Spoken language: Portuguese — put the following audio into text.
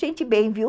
Gente bem, viu?